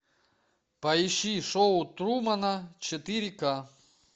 поищи шоу трумана четыре к